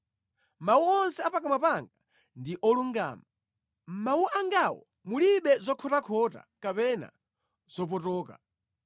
Mawu onse a pakamwa panga ndi olungama; mʼmawu angawo mulibe zokhotakhota kapena zopotoka.